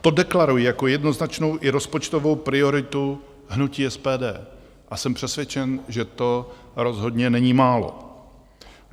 To deklaruji jako jednoznačnou i rozpočtovou prioritu hnutí SPD a jsem přesvědčen, že to rozhodně není málo.